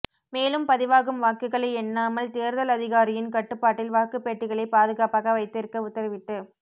மேலும் பதிவாகும் வாக்குகளை எண்ணாமல் தேர்தல் அதிகாரியின் கட்டுப்பாட்டில் வாக்கு பெட்டிகளை பாதுகாப்பாக வைத்திருக்க உத்தரவிட்டு